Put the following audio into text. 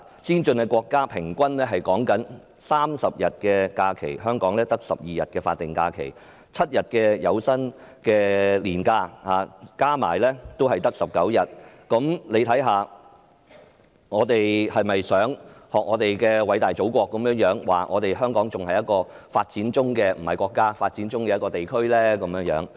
先進國家的勞工平均有30天假期，香港只有12天法定假期及7天有薪年假，總數也只有19天，我們是否想學偉大祖國所說，香港仍是一個處於發展中——不是國家——的地區呢？